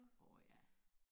åh ja